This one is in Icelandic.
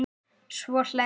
Svo hlærðu.